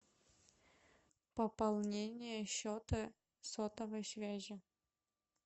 пополнение счета сотовой связи